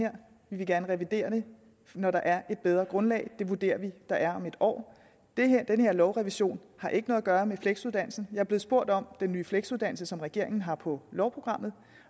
her vi vil gerne revidere det når der er et bedre grundlag og det vurderer vi der er om et år den her lovrevision har ikke noget at gøre med fleksuddannelsen jeg er blevet spurgt om den nye fleksuddannelse som regeringen har på lovprogrammet